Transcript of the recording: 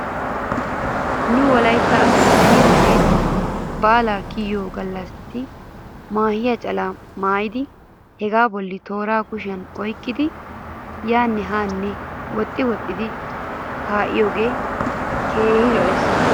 Nu wolaytta asay beni wode baalay kiyiyoo galassi maahiyaa calaa maayidi hegaa bolla tooraa kushiyan oyqqidi yaane haanne woxxi woxxidi kaa'iyoogee keehi lo'ees.